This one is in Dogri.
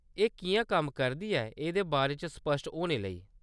एह्‌‌ किʼयां कम्म करदी ऐ एह्‌‌‌दे बारे च स्पष्ट होने लेई।